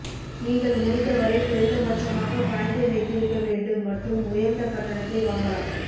நீங்கள் முடிந்தவரை குறைந்தபட்சமாக பணத்தை வைத்திருக்க வேண்டும் மற்றும் உயர்ந்த கட்டணத்தை வாங்கலாம்